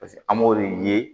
Paseke an b'o de ye